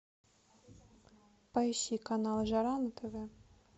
поищи канал жара на тв